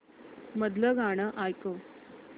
मधलं गाणं ऐकव